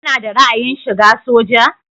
Kana da ra'ayin shiga soja?